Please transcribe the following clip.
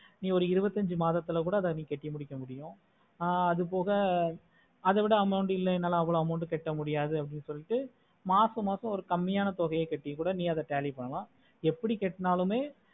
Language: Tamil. ஒரு இருபத்தி அஞ்சி மதத்துல கூட நீ அத கட்டி முடிக்க முடியும் ஆஹ் அது போக அத விட amount இல்ல என்னால அவோலோ amount கட்ட முடியாது அப்படினு சொல்லிட்டு மாசம் மாசம் ஒரு கம்மியான தொகையை கட்டிட்டு அதுல tally பண்ணல எப்படி கட்டுநாளுமே